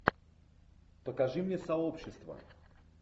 покажи мне сообщество